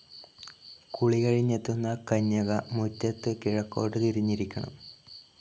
കുളി കഴിഞ്ഞെത്തുന്ന കന്യക മുറ്റത്ത് കിഴക്കോട്ടു തിരിഞ്ഞിരിക്കണം.